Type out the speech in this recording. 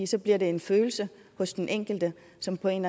så bliver det en følelse hos den enkelte som på en